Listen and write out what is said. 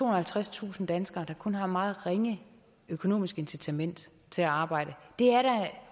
og halvtredstusind danskere der kun har et meget ringe økonomisk incitament til at arbejde det er da